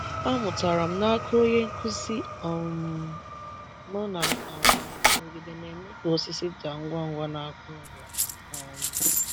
Amụtara m n’aka onye nkụzi um m na um nrụgide na-eme ka osisi daa ngwa ngwa n’aka ọrịa. um